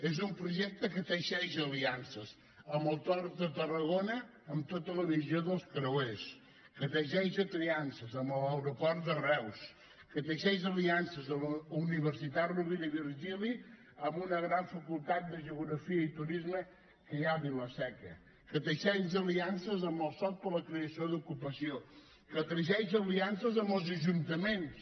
és un projecte que teixeix aliances amb el port de tarragona en tota la visió dels creuers que teixeix aliances amb l’aeroport de reus que teixeix aliances amb la universitat rovira i virgili amb una gran facultat de geografia i turisme que hi ha a vila seca que teixeix aliances amb el soc per a la creació d’ocupació que teixeix aliances amb els ajuntaments